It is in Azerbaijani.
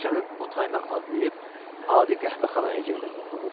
Küçənin o tayına adlayıb adi qəhvəxanaya girdim.